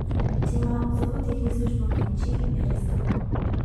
Če ima zobotehnik službo v Nemčiji, je res tako.